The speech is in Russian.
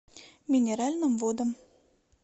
минеральным водам